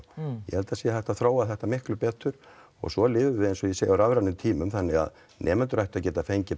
ég held að það sé hægt að þróa þetta miklu betur og svo lifum við eins og ég segi á rafrænum tímum þannig að nemendur ættu að geta fengið